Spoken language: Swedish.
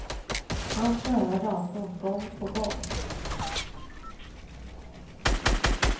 Han spöar datorn gång på gång.